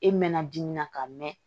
E mɛna dimi na ka mɛn